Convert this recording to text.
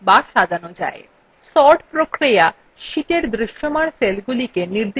sorting sheetএর দৃশ্যমান সেলগুলিকে নির্দিষ্ট ক্রমানুসারে সাজায়